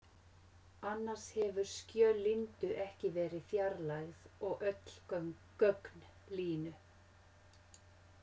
Annars hefðu skjöl Lindu ekki verið fjarlægð og öll gögn Línu.